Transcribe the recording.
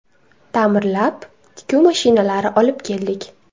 Ta’mirlab, tikuv mashinalari olib keldik.